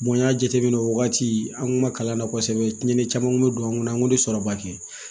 n y'a jateminɛ o wagati an kun ma kalan na kosɛbɛ tiɲɛni caman kun bɛ don an kɔnɔ an kun tɛ sɔrɔba kɛ